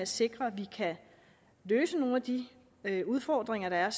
sikrer at vi kan løse nogle af de udfordringer der er